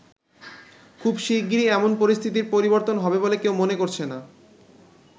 খুব শিগগিরই এমন পরিস্থিতির পরিবর্তন হবে বলে কেউ মনে করছে না।